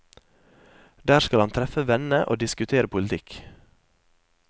Der skal han treffe venne og diskutere politikk.